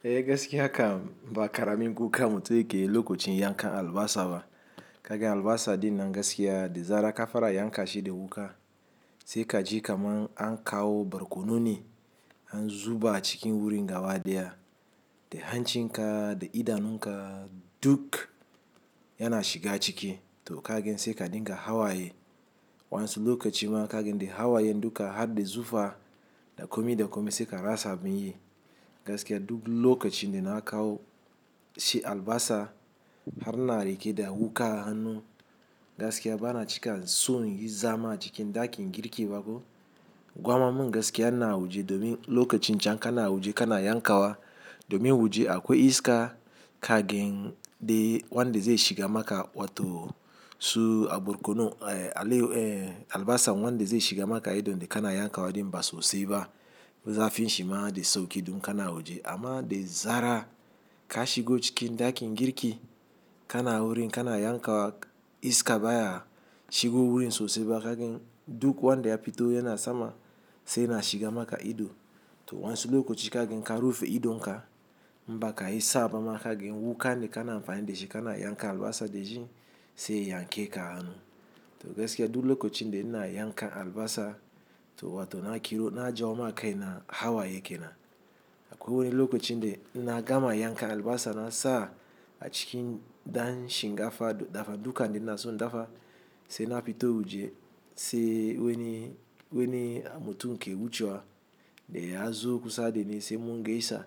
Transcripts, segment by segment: Eh gaskiya kam ba kara min kuka mutu yake lokacin yanka albasa ba. Kaga albasa din nan gaskiya da zarar kafara yanka shi da wuka. Sai ka ji kaman an kawo barkono ne, an zuba cikin wurin gaba ɗaya. Da hancin ka da idanun ka, duk yana shiga ciki. To ka gan sai ka dinga hawaye. Wan su lokacin ma ka gan dai hawayen duka har da zufa, da kome da kome sai ka rasa abin yi. Gaskiya duk lokacin da na kawo, shi albasa har ina rike da wuka hannu, gaskiya bana cika son yi zama cikin ɗakin girki ba ko. Gwamma mun gaskiya ina wuje, domin lokacin can kana wuje kana yankawa. Domin wuje akwai iska kagin, dai wanda zai shiga maka wato, su a barkono, eh alai eh albasan wanda zai shiga maka ido dai kana yankawa din ba sosai ba. Zafin shima dai sauki dun kana waje amma dai zara ka shigo cikin ɗakin girki kana wurin kana yankawa iska baya shigo wurin sosai ba kagin duk wanda ya fito yana sama sai yana shiga maka ido. To wansu lokaci kagin ka rufe idon ka, in ba ka isa ba ma kagin wukan dai kana amfani da shi kana yanka albasa da shi sai ya yanke ka a hannu. To gaskiya duk lokacin da ina yanka albasa to wato na kiro na jawo ma kaina hawaye ke nan. Akwai wani lokacin dai na gama yanka albasa na sa, a cikin dan shingafa dafa duka ne ina so na dafa sai na fito wuje, sai wani, wani mutum ke wucewa dai ya zo kusa dai ni sai mun gaisa.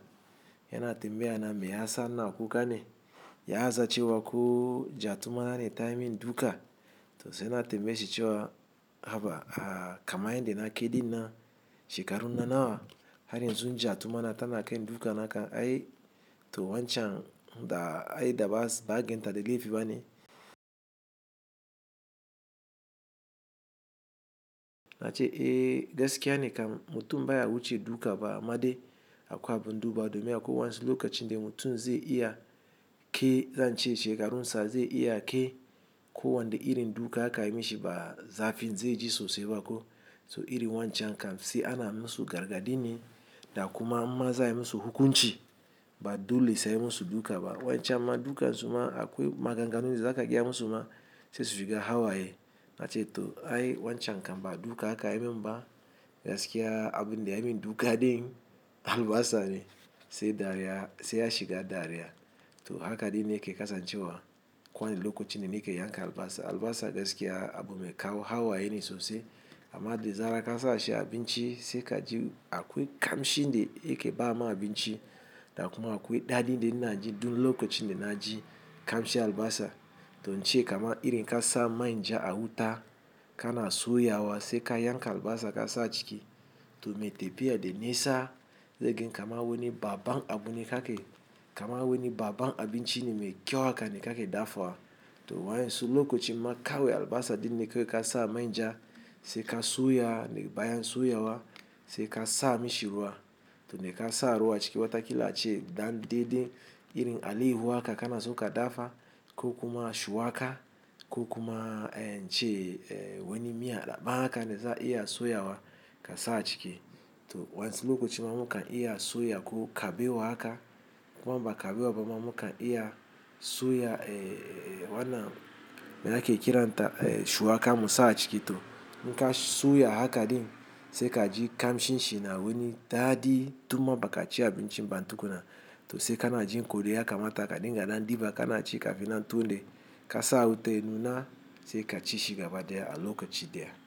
Yana tambaya na me ya sa ina kuka ne? Ya zaci wa ko jatuma ne tayi min duka? To sai na tambaye shi cewa, haba a kama yin dai na keɗi nan, shekarun na nawa har yanzu zo jatumana tana kai min duka naka, ai to wancan da ai da ba, ba ganta da gaifi ba ne. Na ce eh gaskiya ne kam mutu baya wuce duka ba, amma dai akwai abin duba domin akwai wansu lokacin da mutum zai iya, ke zance shekarun sa zai iya ke ko wanne irin duka aka yi mishi ba zafin zai ji sosai ba ko. To irin wancan kam sai ana musu gargaɗi ne da kuma maza ai musu hukunci ba dole sai musu duka ba. Wancan ma duka su ma akwai maganganu da zaka gaya mu su ma, sai shiga hawaye. Na ce to ai wancan kam ba duka kayi min ba, gaskiya abun dai ya min duka dai albasa ne sai dare ya, sai ya shiga dare ya. To haka dai ni yake kasancewa. Ko wane lokaci ni ne ke yanka albasa. Albasa gaskiya abu mai kawo hawaye ne sosai. Amma dai zara ka sa shi abinci sai ka ji akwai kamshi dai yake ba ma abinci. Da kuma akwai daɗi dai na ji duk lokacin dai na ji kamshi albasa. To nce kama irin ka sa manja a wuta, kana soya wa sai ka yanka albasa ka sa ciki. To me tafiya da nisa, zai gan kaman wani baban abu ne ka ke. Kama wani baban abinci ne mai kyau haka ne ka ke dafawa. To waɗansu lokaci ma kawai albasa ɗin ne kawai ka sa manja, sai ka soya ne bayan soya wa sai ka sa a mish ruwa. To dai ka sa a ruwa ciki watakila ace dan daidai irin alaiyahu haka kana so ka dafa, ko kuma shuwaƙa, ko kuma en ce eh wani miya daɓa haka ne za a iya soya wa ka sa a ciki. To wansu lokaci ma mukan iya soya ko kabe wa haka. Ko ba ka zuwa ba ma mukan iya soya eh wannan me ake kiranta eh shuwaƙa mu sa a ciki. To in ka soya haka din sai ka ji kamshin shi na wani daɗi. Tumma ba ka ci abinci ba tukuna. To sai kana jin ko dai ya kamata ka dinga ɗan diba kana ci kafin nan tule, ka sa a wuta. Ya Nu na sai ka ci shi gaba ɗaya a lokaci da ya.